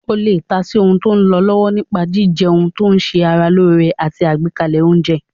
O lè ta sí ohun tó lọ lọ́wọ́ nípa jíjẹun tó ṣe ara lóore àti àgbékalẹ̀ oúnjẹ